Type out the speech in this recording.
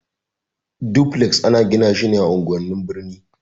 Dufles ana gina shi ne a unguwan birni.